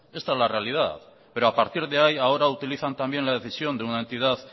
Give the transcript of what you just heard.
esta es la realidad pero a partir de ahí ahora utilizan también la decisión de una entidad